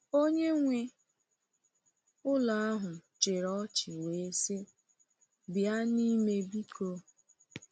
Onye nwe ụlọ ahụ chịrị ọchị wee sị: “Bịa n’ime, biko.”